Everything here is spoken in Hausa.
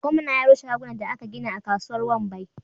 Gwamna ya rushe shagunan da aka gina a kasuwar wambai